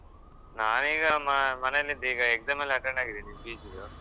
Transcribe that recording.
ನಾನ್ ಈಗ ಮ~ ಮನೆಯಲ್ಲಿದ್ದೆ exam ಎಲ್ಲ attend ಆಗಿದ್ದೇನೆ PG ದ್ದು